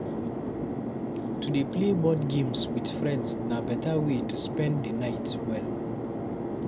To dey play board games with friends na beta way to spend the night well.